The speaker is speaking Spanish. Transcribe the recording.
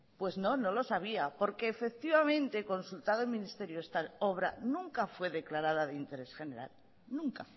pues no no lo sabía porque efectivamente consultado el ministerio esta obra nunca fue declarada de interés general nunca